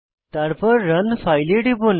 তারপর run file এ টিপুন